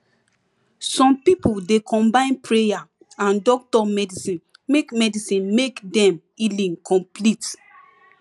some pipo dey combine prayer and doctor medicine make medicine make dem healing complete